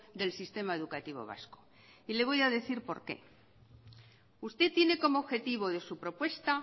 del sistema educativo vasco y le voy a decir por qué usted tiene como objetivo de su propuesta